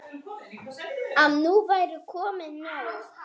Að nú væri komið nóg.